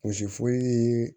Wɔsi foyi ye